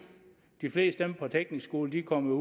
de fleste af dem fra teknisk skole kommer